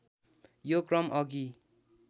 यो क्रम अघि